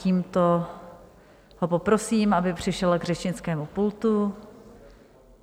Tímto ho poprosím, aby přišel k řečnickému pultu.